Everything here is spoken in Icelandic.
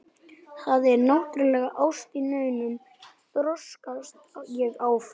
Það er náttúrlega ást í meinum, þrjóskast ég áfram.